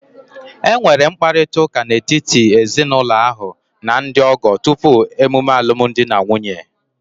E nwere mkparịrịta ụka n'etiti ndị ezinụlọ ahụ na ndị ọgọ tupu emume alumdi na nwunye